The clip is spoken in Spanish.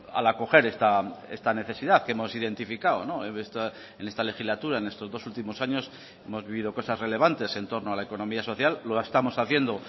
al acoger esta necesidad que hemos identificado en esta legislatura en estos dos últimos años hemos vivido cosas relevantes en torno a la economía social lo estamos haciendo